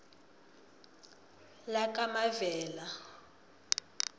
lakamavela